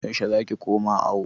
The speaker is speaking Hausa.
Yaushe za ki koma awo?